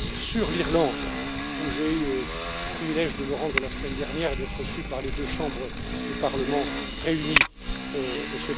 Sur l'Irlande, où j'ai eu le privilège de me rendre la semaine dernière et d'être reçu par les deux chambres du parlement réunies M.